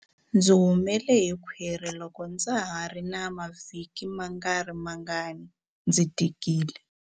Ndzi humele hi khwiri loko ndza ha ri na mavhiki mangarimangani ndzi tikile.